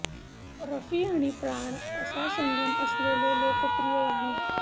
रफी आणि प्राण असा संगम असलेले हे लोकप्रिय गाणे